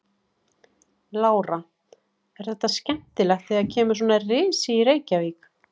Lára: Er þetta skemmtilegt þegar kemur svona risi í Reykjavík?